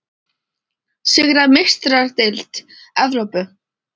Sigra Meistaradeild Evrópu?